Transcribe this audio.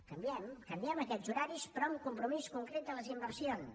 canviem canviem aquests horaris però amb un compromís concret de les inversions